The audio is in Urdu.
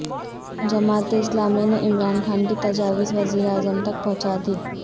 جماعت اسلامی نے عمران خان کی تجاویز وزیر اعظم تک پہنچا دیں